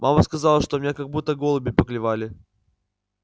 мама сказала что меня как будто голуби поклевали